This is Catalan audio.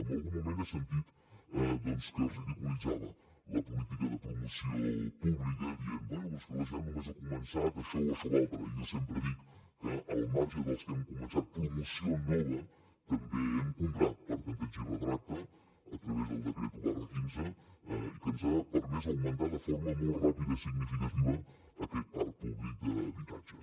en algun moment he sentit que es ridiculitzava la política de promoció pública dient bé és que la generalitat només ha començat això o això altre i jo sempre dic que al marge dels que hem començat promoció nova també hem comprat per tanteig i retracte a través del decret un quinze que ens ha permès augmentar de forma molt ràpida i significativa aquest parc públic d’habitatges